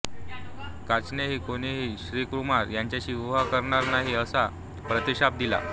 कचानेही कोणीहि ऋषिकुमार हिच्याशी विवाह करणार नाही असा प्रतिशाप दिला